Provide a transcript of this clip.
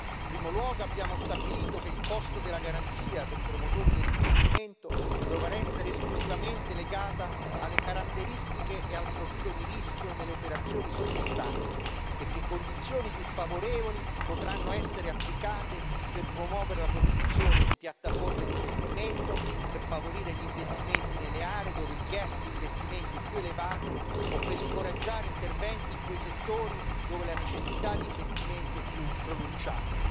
In primo luogo, abbiamo stabilito che il costo della garanzia per i promotori dell'investimento dovrà essere esclusivamente legato alle caratteristiche e al profilo di rischio delle operazioni sottostanti, e che condizioni più favorevoli potranno essere applicate per promuovere la costruzione di piattaforme di investimento, per favorire gli investimenti nelle aree dove il gap di investimenti è più elevato, o per incoraggiare interventi in quei settori dove la necessità di investimenti è più pronunciata.